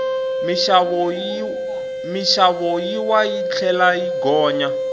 minxavo yi wa yi tlhela yi gonya